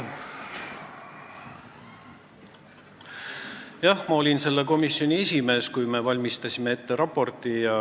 Jah, ma olin selle komisjoni esimees, kui me valmistasime ette raporti.